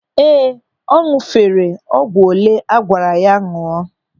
Ee, ọ ñụ̀fere ọgwụ olee agwara ya ñụọ.